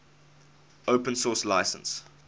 open source license